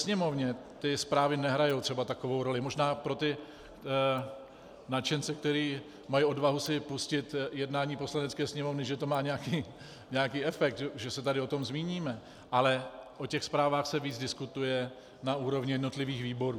Sněmovně ty zprávy nehrají třeba takovou roli, možná pro ty nadšence, kteří mají odvahu si pustit jednání Poslanecké sněmovny, že to má nějaký efekt, že se tady o tom zmíníme, ale o těch zprávách se víc diskutuje na úrovni jednotlivých výborů.